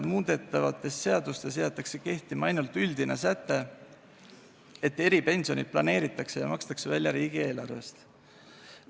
Muudetavates seadustes jäetakse kehtima ainult üldine säte, et eripensionid planeeritakse ja makstakse välja riigieelarvest.